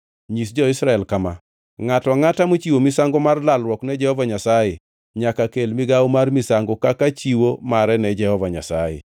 “Nyis jo-Israel kama: ‘Ngʼato angʼata mochiwo misango mar lalruok ne Jehova Nyasaye, nyaka kel migawo mar misango kaka chiwo mare ne Jehova Nyasaye.